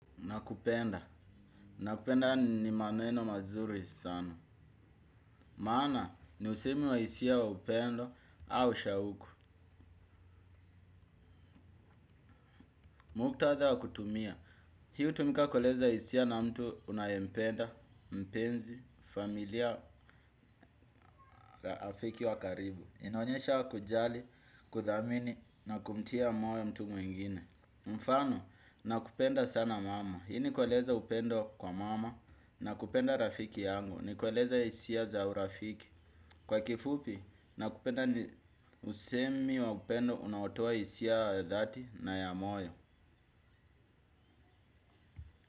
Nakupenda. Nakupenda ni maneno mazuri sana. Maana ni usemi wa hisia wa upendo au shauku. Muktadha wa kutumia. Hii hutumika kueleza hisia na mtu unayempenda, mpenzi, familia, rafiki wa karibu. Inaonyesha kujali, kuthamini na kumtia moyo mtu mwingine. Mfano, nakupenda sana mama. Hii ni kueleza upendo kwa mama na kupenda rafiki yangu. Nikueleza hisia za urafiki. Kwa kifupi, nakupenda ni usemi wa upendo unaotoa hisia ya dhati na ya moyo.